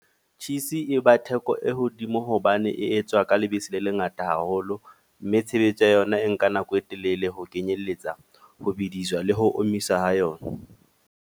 Cheese e ba theko e hodimo hobane e etswa ka lebese le lengata haholo. Mme tshebetso ya yona e nka nako e telele ho kenyelletsa ho bidiswa le ho omisa ho yona.